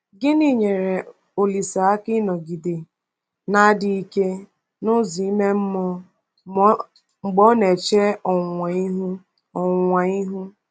Gịnị nyeere Olise aka ịnọgide na-adị ike n’ụzọ ime mmụọ mgbe ọ na-eche ọnwụnwa ihu? ọnwụnwa ihu?